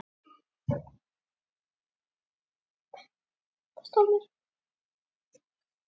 Þetta kostar, segir Heiða Björg.